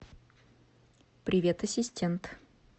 привет ассистент